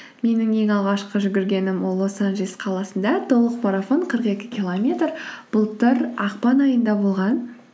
менің ең алғашқы жүгіргенім ол лос анджелес қаласында толық марафон қырық екі километр былтыр ақпан айында болған